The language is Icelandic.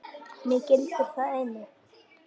Mig gildir það einu.